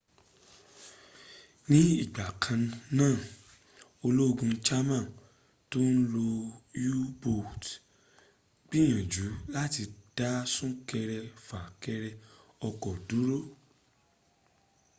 ní ìgbà kanáà ológun german tó ń lo u-boats ńgbìyànjú lati dá súnkẹrẹ fà kẹrẹ ọkọ́ dúró